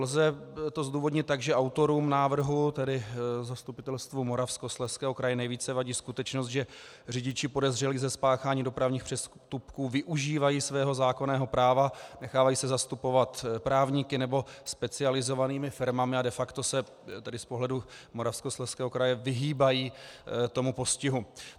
Lze to zdůvodnit tak, že autorům návrhu, tedy Zastupitelstvu Moravskoslezského kraje, nejvíce vadí skutečnost, že řidiči podezřelí ze spáchání dopravních přestupků využívají svého zákonného práva, nechávají se zastupovat právníky nebo specializovanými firmami a de facto se tedy z pohledu Moravskoslezského kraje vyhýbají tomu postihu.